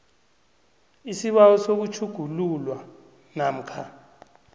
isibawo sokutjhugululwa namkha